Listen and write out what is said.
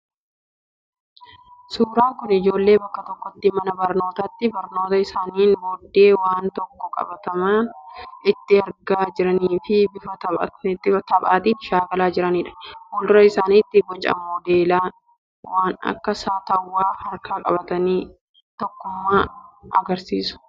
Suuraan kun ijoollee bakka tokkotti mana barnootaatti barnoota isaaniin booddee waan tokko qabatamaan itti argaa jiranii fi bifa taphaatiin shaakalaa jiranidha. Fuuldura isaaniitti boca modeela waan akka saattawwaa harkaan qabatanii tokkummaa agarsiisu.